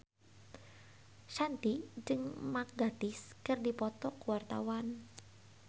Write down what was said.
Shanti jeung Mark Gatiss keur dipoto ku wartawan